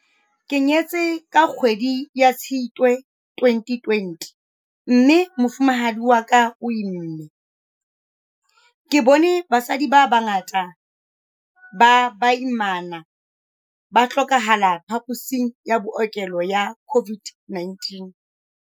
"Ke nyetse ka kgwedi ya Tshitwe 2020 mme mofumahadi wa ka o imme. Ke bone basadi ba bangata ba baimana ba hlokahala phaposing ya bookelo ya COVID-19."